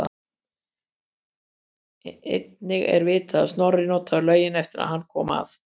Einnig er vitað að Snorri notaði laugina eftir að hann kom að